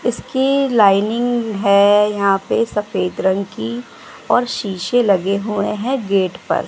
इसकी लाइनिंग है यहां पे सफेद रंग की और शीशे लगे हुए हैं गेट पर--